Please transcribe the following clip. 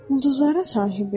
Ulduzlara sahibi?